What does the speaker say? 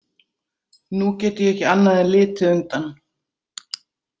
Nú get ég ekki annað en litið undan.